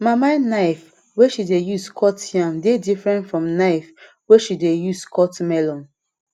mama knife wey she dey use cut yam dey different from knife wey she dey use cut melon